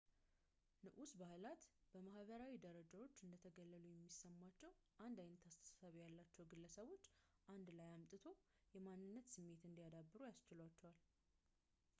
ንዑስ ባህላት በማሕበራዊ ደረጃዎች እንደተገለሉ የሚሰማቸውን አንድ ዓይነት አስተሳሰብ ያላቸው ግለሰቦች አንድ ላይ አምጥቶ የማንነት ስሜት እንዲያዳብሩ ያስችላቸዋል